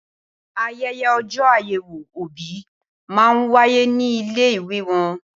Ayẹyẹ ọjọ́ àyèwò òbí máa wáyé ní ilé ìwé wọn